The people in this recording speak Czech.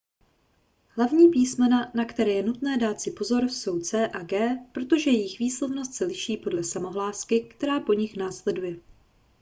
hlavní písmena na které je nutné dát si pozor jsou c a g protože jejich výslovnost se liší podle samohlásky která po nich následuje